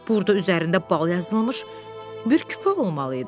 Burda üzərində bal yazılmış bir küpə olmalı idi.